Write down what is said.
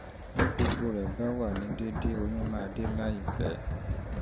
bí gbogbo rẹ̀ bá wà ní déédé oyún máa dé láìpẹ́